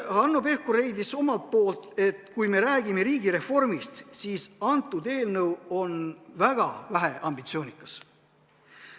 Hanno Pevkur leidis, et kui me räägime riigireformist, siis on eelnõu väga väheambitsioonikas.